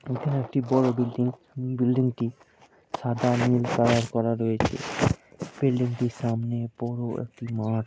এখানে একটি বড় বিল্ডিং । বিল্ডিংটি সাদা নীল কালার করা রয়েছে। বিল্ডিংটির সামনে বড় একটি মাঠ--